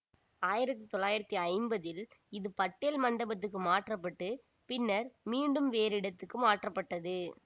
ஆயிரத்தி தொள்ளாயிரத்தி ஐம்பதீல் இது பட்டேல் மண்டபத்துக்கு மாற்றப்பட்டுப் பின்னர் மீண்டும் வேறிடத்துக்கு மாற்றப்பட்டது